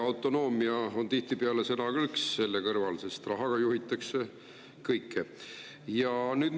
Autonoomia on tihtipeale sõnakõlks selle kõrval, sest rahaga juhitakse kõike.